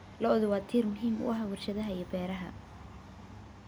Lo'du waa tiir muhiim u ah warshadaha beeraha.